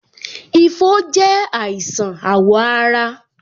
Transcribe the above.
Ifo je àìsàn awo ara